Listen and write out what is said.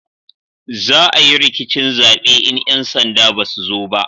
Za a yi rikicin zabe in 'yan sanda ba su zo ba